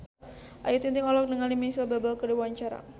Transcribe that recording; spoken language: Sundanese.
Ayu Ting-ting olohok ningali Micheal Bubble keur diwawancara